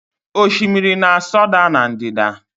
Osimiri na-asọda na ndịda